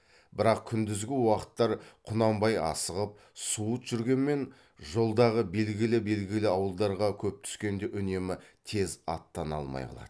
бірақ күндізгі уақыттар құнанбай асығып суыт жүргенмен жолдағы белгілі белгілі ауылдарға көп түскенде үнемі тез аттана алмай қалады